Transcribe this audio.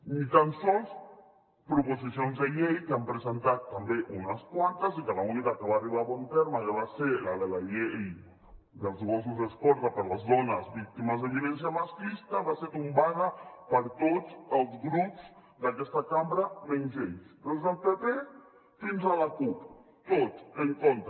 ni tan sols proposicions de llei que n’han presentades també unes quantes i que l’única que va arribar a bon terme que va ser la de la llei dels gossos escorta per a les dones víctimes de violència masclista va ser tombada per tots els grups d’aquesta cambra menys ells des del pp fins a la cup tots en contra